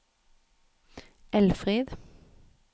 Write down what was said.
Elfrid